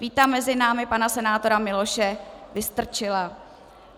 Vítám mezi námi pana senátora Miloše Vystrčila.